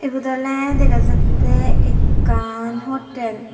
ebot oley dega jattey ekkan hotel.